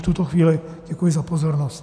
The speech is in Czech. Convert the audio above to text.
V tuto chvíli děkuji za pozornost.